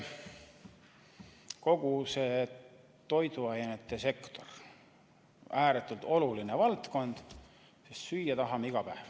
Kogu toiduainesektor on ääretult oluline valdkond, sest süüa tahame iga päev.